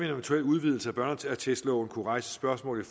eventuel udvidelse af børneattestloven kunne rejse spørgsmål i